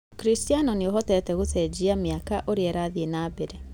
ũkristiano nĩũhotete gũcenjia mĩaka ũrĩa ĩrathiĩ na mbere.